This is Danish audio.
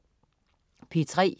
P3: